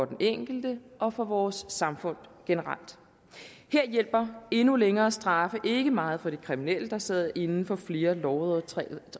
den enkelte og for vores samfund generelt her hjælper endnu længere straffe ikke meget til de kriminelle der sidder inde for flere lovovertrædelser